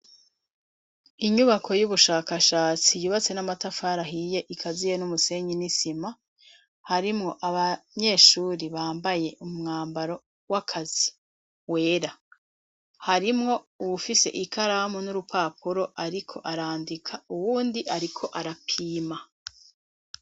Inyubako y'ubushakashatsi yubatswe b'amatafari ahiye ikaziye n'umusenyi n'isima, harimwo abanyeshure bambaye umwambaro w'akazi wera, harimwo uwufise urupapuro nikaramu ariko ariko arandika, uwundi ariko arapima.